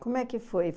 Como é que foi?